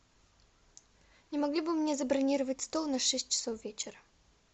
не могли бы вы мне забронировать стол на шесть часов вечера